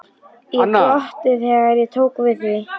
Ég glotti þegar ég tók við því.